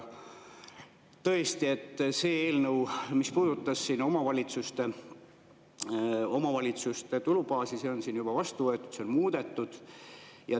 Tõesti, see eelnõu, mis puudutas omavalitsuste tulubaasi, on siin juba vastu võetud, see on muudetud.